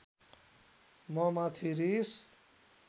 ममाथि रिस